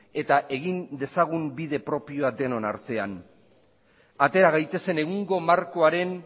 eta egin dezagun bide propioa denon artean atera gaitezen egungo markoaren